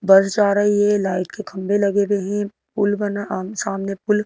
बस जा रही है लाइट के खंबे लगे हुए हैं पुल बना अ सामने पुल--